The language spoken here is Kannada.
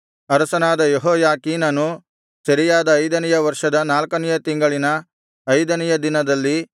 ಅರಸನಾದ ಯೆಹೋಯಾಖೀನನು ಸೆರೆಯಾದ ಐದನೆಯ ವರ್ಷದ ನಾಲ್ಕನೆಯ ತಿಂಗಳಿನ ಐದನೆಯ ದಿನದಲ್ಲಿ